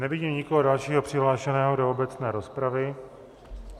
Nevidím nikoho dalšího přihlášeného do obecné rozpravy.